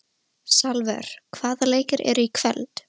Salvör, hvaða leikir eru í kvöld?